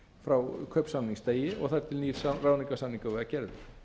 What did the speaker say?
frá kaupsamningsdegi og þar til nýr ráðningarsamningur var gerður